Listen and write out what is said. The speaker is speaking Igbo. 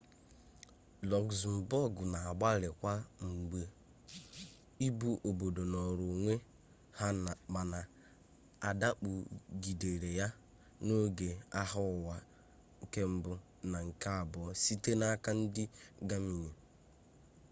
luxembourg na-agbalị kwa mgbe ị bụ obodo nọrọ onwe ha mana adakpọ gidere ya ma n'oge agha ụwa i na ii site n'aka ndị gamani